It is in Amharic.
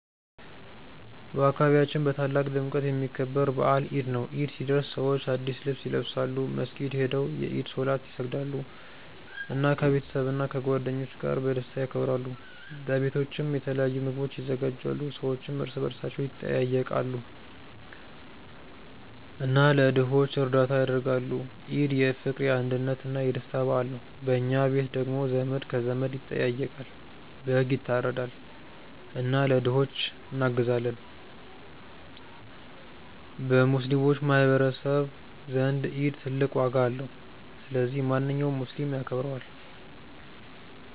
በአካባቢያችን በታላቅ ድምቀት የሚከበር በዓል ኢድ ነው። ኢድ ሲደርስ ሰዎች አዲስ ልብስ ይለብሳሉ፣ መስጊድ ሄደው የኢድ ሶላት ይሰግዳሉ፣ እና ከቤተሰብና ከጓደኞች ጋር በደስታ ያከብራሉ። በቤቶችም የተለያዩ ምግቦች ይዘጋጃሉ፣ ሰዎችም እርስ በርስ ይጠያየቃሉ እና ለድሆች እርዳታ ያደርጋሉ። ኢድ የፍቅር፣ የአንድነት እና የደስታ በዓል ነው። በኛ ቤት ደግሞ ዘመድ ከዘመድ ይጠያየቃል፣ በግ ይታረዳል እና ለድሆች እናግዛለን። በሙስሊሞች ማህቀረሰብ ዘንድ ኢድ ትልቅ ዋጋ አለው። ስለዚህ ማንኛውም ሙስሊም ያከብረዋል።